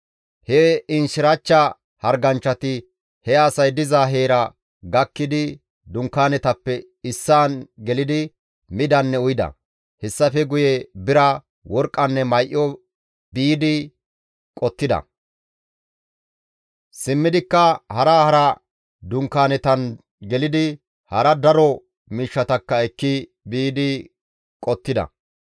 He inchchirachcha harganchchati he asay diza heera gakkidi dunkaanetappe issaan gelidi midanne uyida; hessafe guye bira, worqqanne may7o biidi qottida; simmidikka hara hara dunkaanetan gelidi hara daro miishshatakka ekki biidi qottida.